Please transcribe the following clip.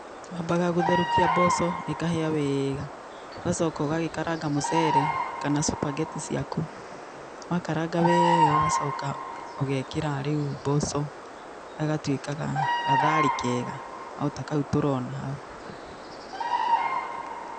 Wambaga gũtherũkia mboco ĩkahĩa wega ũgacoka ũgagĩkaranga mũcere kana cupageti ciaku. Wakaranga wega ũgacoka ũgekira rĩu mboco gagatuĩka gatharĩ kega o ta kau tũrona hau.